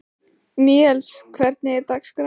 Níels, hvernig er dagskráin?